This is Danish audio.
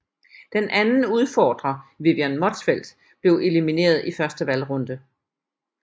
Den anden udfordrer Vivian Motzfeldt blev elimineret i første valgrunde